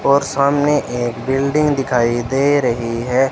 और सामने एक बिल्डिंग दिखाई दे रही है।